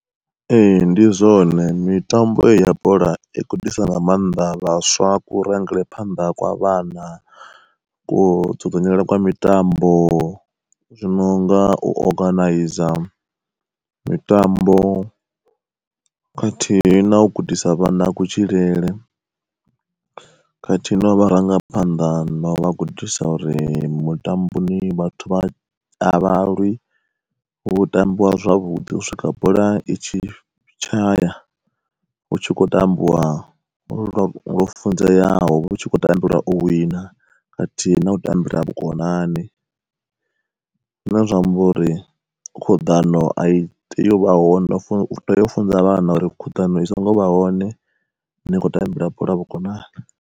Ee ndi zwone mitambo heyi ya bola i gudisa nga maanḓa vhaswa ku rangele phanḓa kwa vhana ko dzudzanyela kwa mitambo, zwi nonga u oganaiza mitambo, khathihi na u gudisa vhana kutshilele. Khathihi no vharangaphanḓa novha gudisa uri mutamboni vhathu vha a vha lwi hu tambiwa zwavhuḓi u swika bola i tshi tshaya. Hu tshi khou tambiwa lwo funzeaho hutshi khou tambelwa o wina, khathihi na u tambula vhukonani. Zwine zwa amba uri khuḓano a i tei u vha hone u tea ufunza vhana uri khuḓano i songo vha hone, ni kho tambela bola vhukonani.